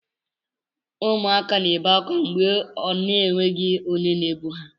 Ụmụaka na ebe akwa mgbe ọ na enweghị onye na ebu ha.